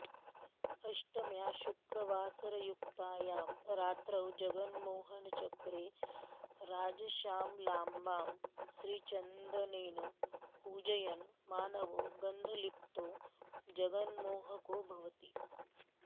अष्टम्यां शुक्रवासरयुक्तायां रात्रौ जगन्मोहनचक्रे राजश्यामलाम्बां श्रीचन्दनेन पूजयन् मानवो गन्धलिप्तो जगन्मोहको भवति